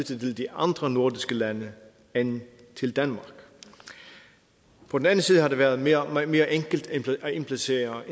til de andre nordiske lande end til danmark på den anden side har det været mere enkelt at indplacere